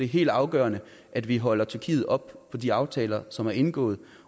helt afgørende at vi holder tyrkiet op på de aftaler som er indgået